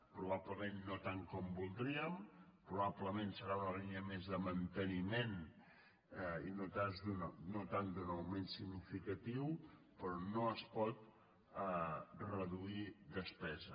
probablement no tant com voldríem probablement serà una línia més de manteniment i no tant d’un augment significatiu però no es pot reduir despesa